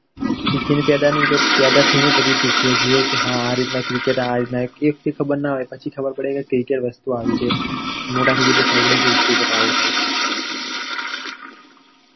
શીખીને પેદા ની તો પેદા થઈ ને પછી શીખીએ છીએ કે આ રીતના ના હોય પછી ખબેર પડે કે cricket વસ્તુ આવી છે પછી મોટા થઈએ પછી ખબર પડે કે cricket આવું હોય છે.